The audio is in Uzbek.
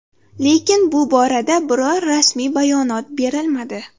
Lekin bu borada biror rasmiy bayonot berilmadi.